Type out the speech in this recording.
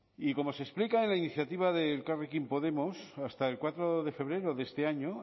y como se explica en la iniciativa de elkarrekin podemos hasta el cuatro de febrero de este año